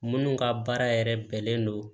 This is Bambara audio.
Minnu ka baara yɛrɛ bɛnnen don